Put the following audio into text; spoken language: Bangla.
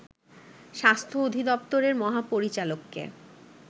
স্বাস্থ্য অধিদপ্তরের মহাপরিচালককে